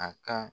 A ka